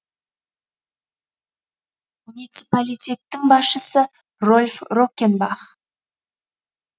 муниципалитеттің басшысы рольф роккенбах